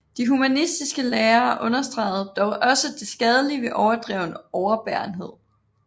De humanistiske lærere understregede dog også det skadelige ved overdreven overbærenhed